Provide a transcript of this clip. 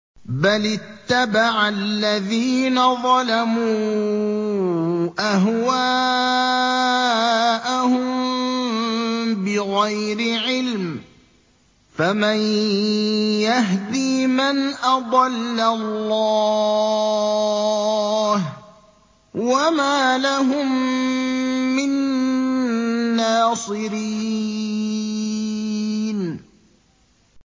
بَلِ اتَّبَعَ الَّذِينَ ظَلَمُوا أَهْوَاءَهُم بِغَيْرِ عِلْمٍ ۖ فَمَن يَهْدِي مَنْ أَضَلَّ اللَّهُ ۖ وَمَا لَهُم مِّن نَّاصِرِينَ